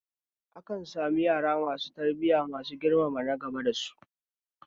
Akan samu yara masu tarbiya masu girmama nagaba da su